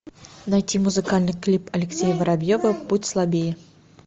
найти музыкальный клип алексея воробьева будь слабее